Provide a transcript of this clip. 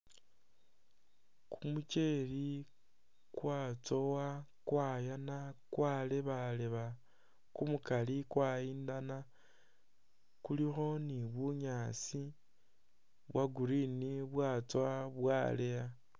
Kumukyele kwatsowa, kwayaana kwalebaleba kumukaali kwayindana kulikho ni bunyaasi bwa green bwatsoowa bwaleeya.